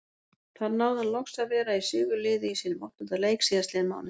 Þar náði hann loks að vera í sigurliði í sínum áttunda leik síðastliðinn mánudag.